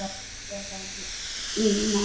Logandi að innan.